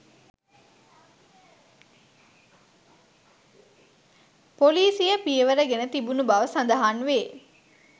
පොලිසිය පියවර ගෙන තිබුණු බව සඳහන් වේ